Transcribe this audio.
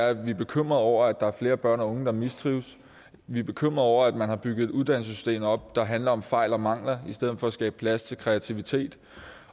at vi er bekymret over at der er flere børn og unge der mistrives vi er bekymret over at man har bygget et uddannelsessystem op der handler om fejl og mangler i stedet for at skabe plads til kreativitet